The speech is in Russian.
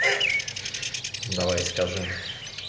давай скажи